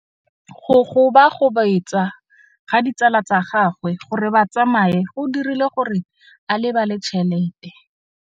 Go gobagobetsa ga ditsala tsa gagwe, gore ba tsamaye go dirile gore a lebale tšhelete.